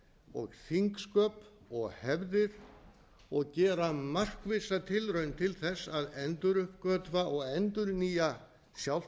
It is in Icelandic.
og þingsköp og hefðir og gera markvissa tilraun til þess að enduruppgötva og endurnýja sjálft